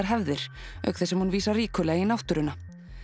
hefðir auk þess sem hún vísar ríkulega í náttúruna